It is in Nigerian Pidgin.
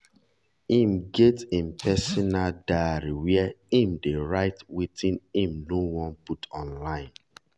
im get im personal diary where im dey write wetin im nor wan put online